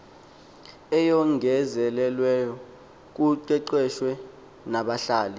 eyongezelelweyo kuqeqeshwe nabahlali